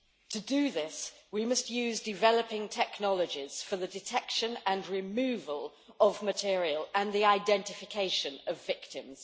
To do this, we must use developing technologies for the detection and removal of material and the identification of victims.